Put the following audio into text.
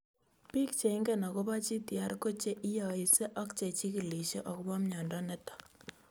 Piik che ingine akopo GTR ko che inyaise ak che chig�lishe akopo miondo nitok